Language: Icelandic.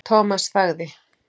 Thomas þagði.